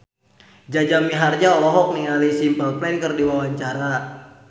Jaja Mihardja olohok ningali Simple Plan keur diwawancara